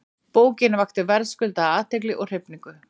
Bókin vakti verðskuldaða athygli og hrifningu.